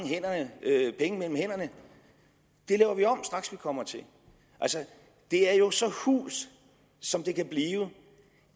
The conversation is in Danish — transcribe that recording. penge mellem hænderne det laver vi om straks vi kommer til altså det er jo så hult som det kan blive